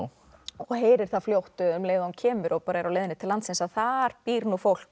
og heyrir það fljótt um leið og hann kemur og bara á leiðinni til landsins að þar býr nú fólk